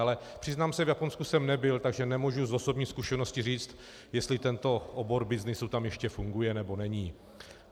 Ale přiznám se, v Japonsku jsem nebyl, takže nemůžu z osobní zkušenosti říct, jestli tento obor byznysu tam ještě funguje, nebo ne.